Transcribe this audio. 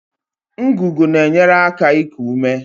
Ngụgụ na-enyere aka iku ume